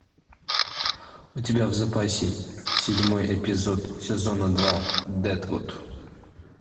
у тебя в запасе седьмой эпизод сезона два дедвуд